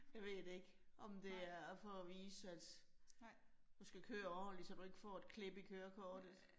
Jeg ved det ikke, om det er for at vise, at du skal køre ordentligt, så du ikke får et klip i kørekortet